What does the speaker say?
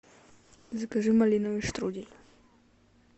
закажи малиновый штрудель